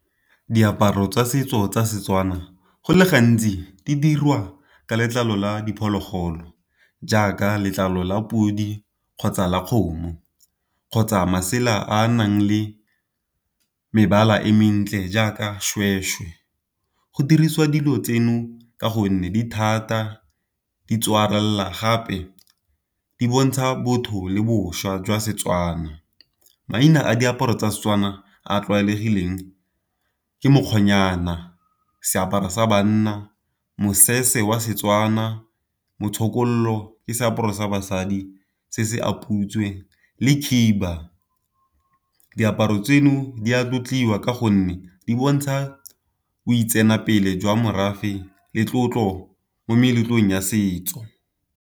Diaparo tsa setso tsa Setswana go le gantsi di dirwa ka letlalo la diphologolo, jaaka letlalo la podi, kgotsa la kgomo, kgotsa masela a a nang le mebala e mentle jaaka seshweshwe. Go dirisiwa dilo tseno ka gonne dithata gape di bontsha botho le boswa jwa Setswana. Maina a diaparo tsa Setswana a a tlwaelegileng ke mokgwanyana se apara sa banna, mosese wa Setswana motlokolo ke seaparo sa basadi se se a putswe, le khiba. Diaparo tseno di a tlotliwa ka gonne di bontsha boitsanape jwa morafe le tlotlo mo meletlong ya setso.